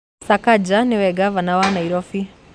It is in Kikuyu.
Sakaja nĩwe ngavana wa Nairobi